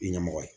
I ɲɛmɔgɔ ye